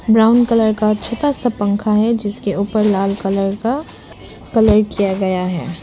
Brown colour का छोटा सा पंखा है जिसके ऊपर लाल कलर का कलर किया गया है।